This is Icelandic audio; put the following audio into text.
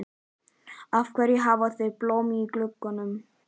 Af hverju hafa þau blóm í gluggunum?